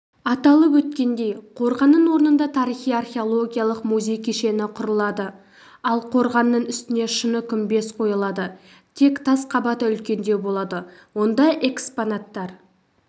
аталып өткендей қорғанның орнында тарихи-археологиялық музей кешені құрылады ал қорғанның үстіне шыны күмбез қойылады тек тас қабаты үлкендеу болады онда экспонаттар